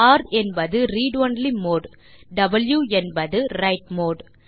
ர் என்பது read only mode மற்றும் வாவ் என்பது விரைட் மோடு